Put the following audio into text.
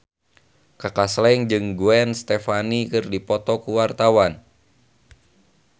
Kaka Slank jeung Gwen Stefani keur dipoto ku wartawan